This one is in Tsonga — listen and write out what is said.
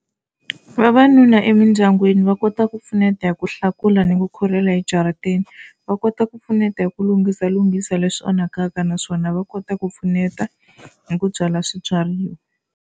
Vavanuna emindyangwini va kota ku pfuneta hi ku hlakula ni ku khurhela ejarateni. Va kota ku pfuneta hi ku lunghisalunghisa leswi onhakaka naswona va kota ku pfuneta hi ku byala swibyariwa.